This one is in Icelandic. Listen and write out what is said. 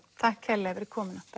takk kærlega fyrir komuna